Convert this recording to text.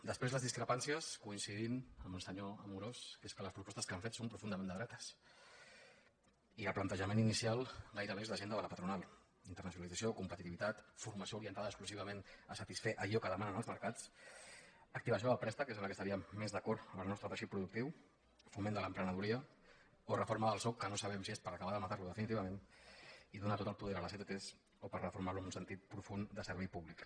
després les discrepàncies coincidim amb el senyor amorós que és que les propostes que han fet són profundament de dretes i el plantejament inicial gairebé és l’agenda de la patronal internacionalització competitivitat formació orientada exclusivament a satisfer allò que demanen els mercats activació del préstec que és en la que estaríem més d’acord en el nostre teixit productiu foment de l’emprenedoria o reforma del sou que no sabem si és per acabar de matar lo definitivament i donar tot el poder a les ett o per reformar lo en un sentit profund de servei públic